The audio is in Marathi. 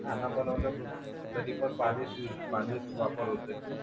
कधी पण पाणीच वापर होते